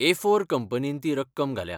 एफोर कंपनीन ती रक्कम घाल्या.